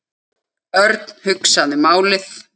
Örn hugsaði málið.